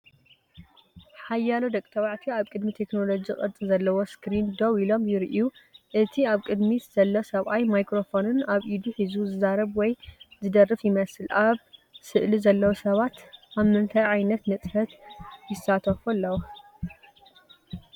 ሓያሎ ደቂ ተባዕትዮ ኣብ ቅድሚ ቴክኖሎጂ ቅርጺ ዘለዎ ስክሪን ደው ኢሎም ይረኣዩ። እቲ ኣብ ቅድሚት ዘሎ ሰብኣይ ማይክሮፎን ኣብ ኢዱ ሒዙ፡ ዝዛረብ ወይ ዝደርፍ ይመስል። ኣብ ስእሊ ዘለዉ ሰባት ኣብ ምንታይ ዓይነት ንጥፈት ይሳተፉ ኣለዉ ትብሉ?